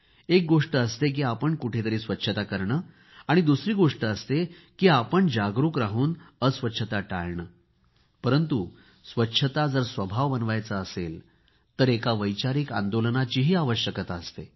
एक गोष्ट असते की आपण कुठेतरी स्वच्छता करायची दुसरी गोष्ट असते की आपण जागरूक राहून अस्वच्छता नाही करायची परंतु स्वच्छता जर स्वभाव बनवायचा असेल तर एका वैचारिक आंदोलनाचीही आवश्यकता असते